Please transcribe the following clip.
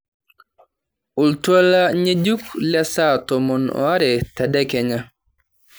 oltuala ng'enjuk lesaa tomon oare tedekenya